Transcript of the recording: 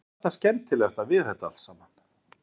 En hvað er það skemmtilegasta við þetta allt saman?